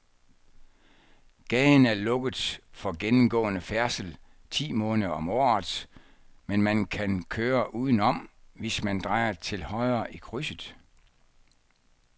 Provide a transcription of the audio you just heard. Gaden er lukket for gennemgående færdsel ti måneder om året, men man kan køre udenom, hvis man drejer til højre i krydset.